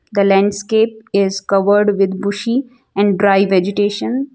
The landscape is covered with bushy and dry vegetation.